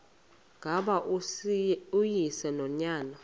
ngaba uyise nonyana